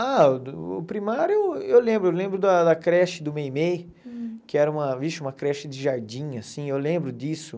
Ah, o primário eu lembro, eu lembro da da creche do Meimei, que era uma, vixe, uma creche de jardim, assim, eu lembro disso.